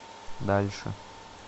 дальше